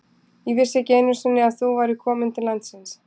Ég vissi ekki einu sinni að þú værir komin til landsins.